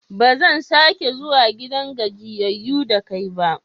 Ba zan sake zuwa gidan gajiyayyu da kai ba.